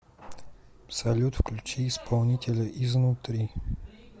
салют включи исполнителя изнутри